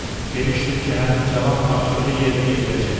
Demishdim ki, həmin cavan tapşırığı yerinə yetirəcək.